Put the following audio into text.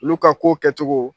Olu ka kow kɛcogo.